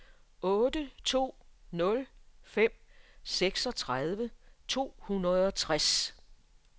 otte to nul fem seksogtredive to hundrede og tres